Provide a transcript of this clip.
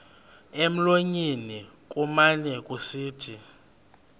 emlonyeni kumane kusithi